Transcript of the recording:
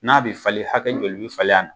N'a bɛ falen hakɛ joli bɛ falen a na?